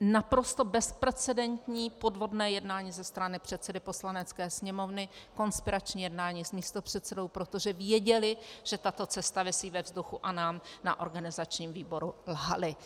naprosto bezprecedentní podvodné jednání ze strany předsedy Poslanecké sněmovny, konspirační jednání s místopředsedou, protože věděli, že tato cesta visí ve vzduchu, a nám na organizačním výboru lhali.